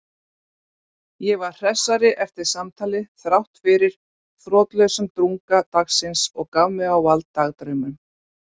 Ég var hressari eftir samtalið þráttfyrir þrotlausan drunga dagsins og gaf mig á vald dagdraumum.